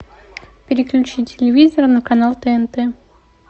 переключи телевизор на канал тнт